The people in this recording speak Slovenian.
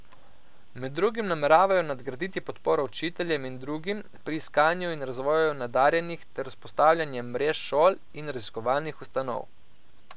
Med drugim nameravajo nadgraditi podporo učiteljem in drugim pri iskanju in razvoju nadarjenih ter vzpostavljanje mrež šol in raziskovalnih ustanov.